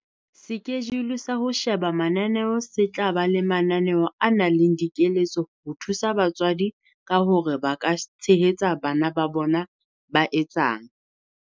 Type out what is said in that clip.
Sekejule sa ho sheba mananeo se tla ba le mananeo a nang le dikeletso ho thusa batswadi ka hore ba ka tshehetsa bana ba bona ba etsang.